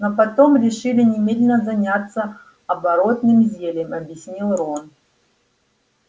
но потом решили немедленно заняться оборотным зельем объяснил рон